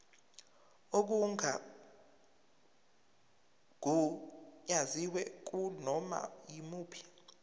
okungagunyaziwe kunoma yimuphi